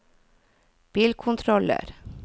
bilkontroller